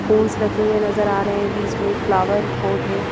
पोन्स रखे हुए नजर आ रहे हैं बीच में एक फ्लावर पॉट है।